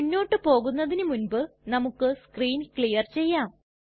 മുന്നോട്ട് പോകുന്നതിനു മുൻപ് നമുക്ക് സ്ക്രീൻ ക്ലിയർ ചെയ്യാം